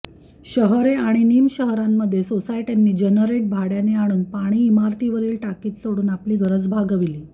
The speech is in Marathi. शहरे आणि निमशहरांमध्ये साेसायट्यांनी जनरेट भाड्याने आणून पाणी इमारतीवरील टाकीत साेडून आपली गरज भागवली